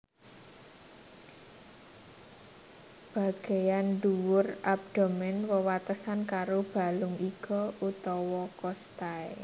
Bagéyan ndhuwur abdomen wewatesan karo balung iga utawa costae